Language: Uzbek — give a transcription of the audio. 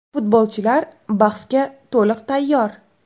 Futbolchilar bahsga to‘liq tayyor.